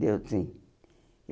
Deu, sim.